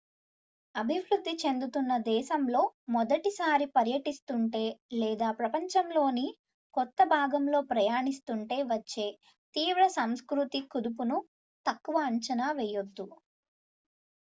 అభివృద్ధి చెందుతున్న దేశంలో మొదటిసారి పర్యటిస్తుంటే లేదా ప్రపంచంలోని కొత్త భాగంలో ప్రయాణిస్తుంటే వచ్చే తీవ్ర సంస్కృతి కుదుపును తక్కువ అంచనా వేయవద్దు